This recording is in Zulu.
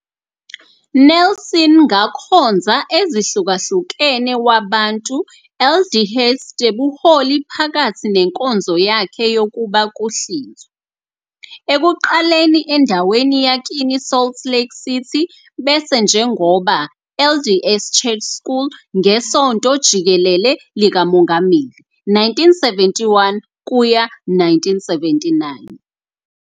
Nelson ngakhonza ezihlukahlukene wabantu LDS tebuholi phakathi nenkonzo yakhe yokuba kuhlinzwa, ekuqaleni endaweni yakini Salt Lake City bese njengoba LDS Church School ngeSonto Jikelele likaMongameli 1971 kuya 1979.